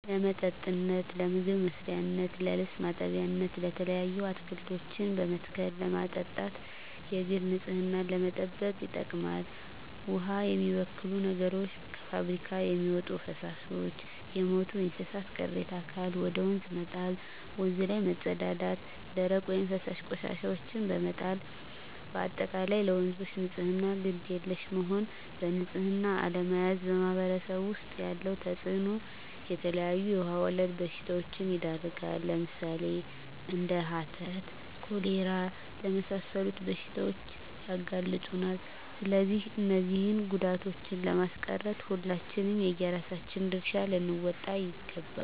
ለመጠጥነት ለምግብ መስሪያነት ለልብስ ማጠቢያነት የተለያዩ አትክልቶችን በመትከል ለማጠጣት የግል ንፅህናን ለመጠበቅ ይጠቅማል ዉሃን የሚበክሉ ነገሮች - ከፍብሪካ የሚወጡ ፈሳሾች - የሞቱ የእንስሳት ቅሬታ አካል ወደ ወንዝ መጣል - ወንዝ ላይ መፀዳዳት - ደረቅ ወይም ፈሳሽ ቆሻሻዎችን በመጣል - በአጠቃላይ ለወንዞች ንፅህና ግድ የለሽ መሆን በንፅህና አለመያዝ በማህበረሰቡ ዉስጥ ያለዉ ተፅእኖ - የተለያዩ የዉሃ ወለድ በሽታዎች ይዳረጋሉ ለምሳሌ፦ እንደ ሀተት፣ ኮሌራ ለመሳሰሉት በሽታዎች ያጋልጡናል ስለዚህ እነዚህን ጉዳቶችን ለማስቀረት ሁላችንም የየራሳችን ድርሻ ልንወጣ ይገባል